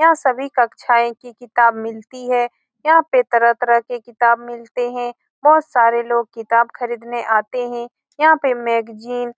यहाँ सभी कक्षाएं की किताब मिलती हैं यहाँ पे तरह-तरह के किताब मिलते हैं बहुत सारे लोग किताब खरीदने आते हैं यहाँ पे मैगज़ीन